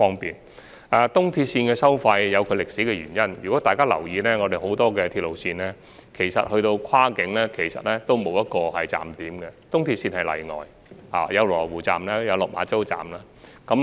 東鐵綫的收費有其歷史原因，如果大家有留意到，很多鐵路線跨境前其實沒有站點，東鐵綫則屬例外，設有羅湖站及落馬洲站。